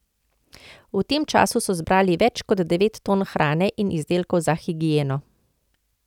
V tem času so zbrali več kot devet ton hrane in izdelkov za higieno.